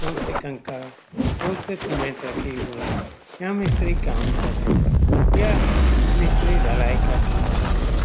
बहुत से कंकड़ बहुत से सीमेंट रखे हुए यह मिस्त्री कम कर रहे है। यह मिस्त्री धलाई का कम कर रहे है।